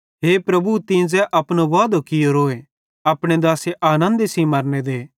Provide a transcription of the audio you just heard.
हे परमेशर तीं ज़ै अपनो वादो कियोरोए अपने दासे आनन्दे सेइं मरने दे